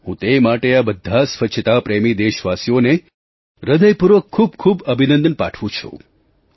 હું તે માટે આ બધા સ્વચ્છતાપ્રેમી દેશવાસીઓને હૃદયપૂર્વક ખૂબ ખૂબ અભિનંદન પાઠવું છું